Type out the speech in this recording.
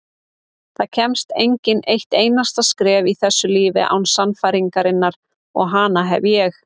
Það kemst enginn eitt einasta skref í þessu lífi án sannfæringarinnar og hana hef ég.